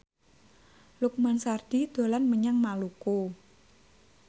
Lukman Sardi dolan menyang Maluku